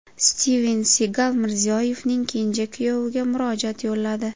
Stiven Sigal Mirziyoyevning kenja kuyoviga murojaat yo‘lladi .